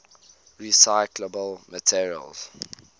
recyclable materials